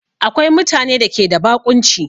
Akwai mutane da ke da baƙunci